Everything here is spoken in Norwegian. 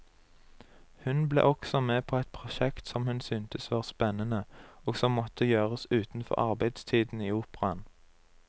Hun ble også med på et prosjekt som hun syntes var spennende, og som måtte gjøres utenfor arbeidstiden i operaen.